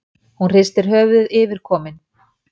Hún hristir höfuðið yfirkomin.